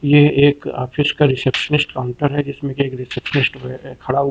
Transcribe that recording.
यह एक ऑफिस का रिसेप्शनिस्ट काउंटर है जिसमें एक रिसेप्शनिस्ट खड़ा हुआ--